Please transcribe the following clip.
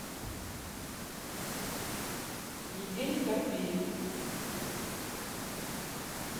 евгений тарбеев